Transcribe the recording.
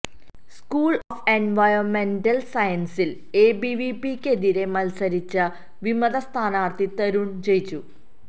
school of എൻവയോൺമെന്റൽ സയൻസിൽ എബിവിപിക്കെതിരെ മത്സരിച്ച വിമത സ്ഥാനാർഥി തരുൺ ജയിച്ചു